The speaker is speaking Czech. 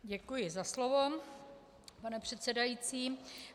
Děkuji za slovo, pane předsedající.